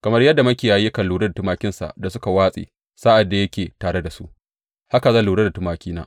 Kamar yadda makiyayi yakan lura da tumakinsa da suka watse sa’ad da yake tare da su, haka zan lura da tumakina.